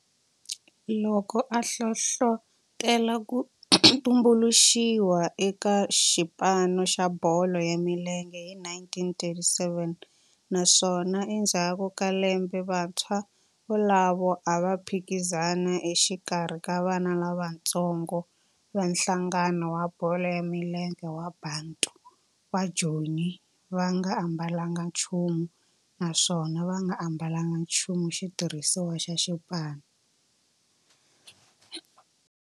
loko a hlohlotela ku tumbuluxiwa ka xipano xa bolo ya milenge hi 1937 naswona endzhaku ka lembe vantshwa volavo a va phikizana exikarhi ka vana lavatsongo va nhlangano wa bolo ya milenge wa Bantu wa Joni va nga ambalanga nchumu naswona va nga ambalanga nchumu xitirhisiwa xa xipano.